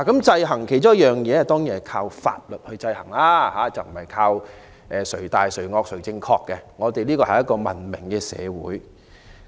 制衡的其中一種方式當然是以法律制衡，而非靠"誰大誰惡誰正確"，因為香港是文明社會。